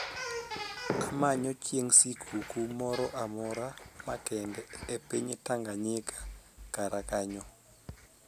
amanyo chieng sikuku moro amora makende e piny Tanaganyika kara kanyo